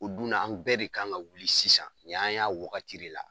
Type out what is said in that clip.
O dunna an bɛɛ de kan ka wuli sisan ɲi y'an y'a wagati de la.